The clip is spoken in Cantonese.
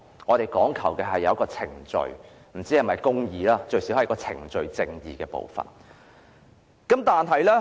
我們講求有一個程序，不知是否公義，但最低限度有程序上的公義。